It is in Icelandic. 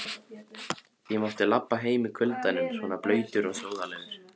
Ég mátti labba heim í kuldanum svona blautur og sóðalegur.